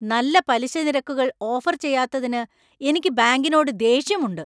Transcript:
നല്ല പലിശ നിരക്കുകൾ ഓഫര്‍ ചെയ്യാത്തതിന് എനിക്ക് ബാങ്കിനോട് ദേഷ്യമുണ്ട്.